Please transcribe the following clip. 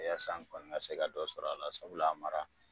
yaasa n kɔni ka se ka dɔ sɔrɔ a la sabula a mara